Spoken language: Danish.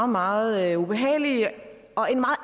meget ubehagelig og